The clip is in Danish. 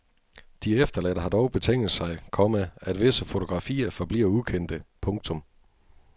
De efterladte har dog betinget sig, komma at visse fotografier forbliver ukendte. punktum